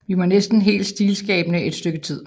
Vi var næsten helt stilskabende et stykke tid